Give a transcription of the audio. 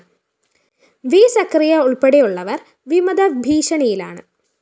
V Scaria ഉള്‍പ്പെടെയുള്ളവര്‍ വിമത ഭീഷണിയിലാണ്